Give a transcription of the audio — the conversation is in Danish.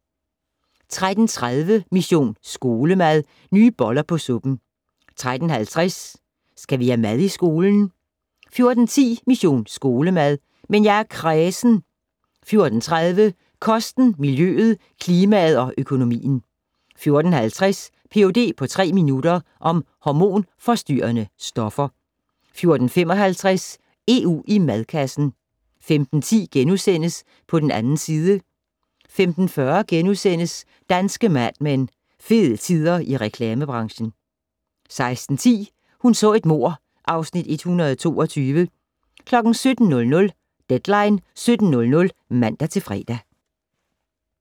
13:30: Mission Skolemad: Nye boller på suppen 13:50: Skal vi have mad i skolen? 14:10: Mission Skolemad: Men jeg er kræsen 14:30: Kosten, miljøet, klimaet og økonomien 14:50: Ph.d. på tre minutter - om hormonforstyrrende stoffer 14:55: EU i madkassen 15:10: På den 2. side * 15:40: Danske Mad Men: Fede tider i reklamebranchen * 16:10: Hun så et mord (Afs. 122) 17:00: Deadline 17.00 (man-fre)